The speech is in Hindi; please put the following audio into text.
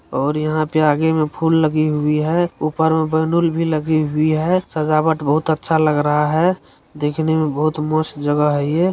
और यहाँ पे आगे में फूल लगी हुई है ऊपर में बैलून भी लगी हुई है सजावट बहुत अच्छा लग रहा है देखने में बहुत मस्त जगह है ये।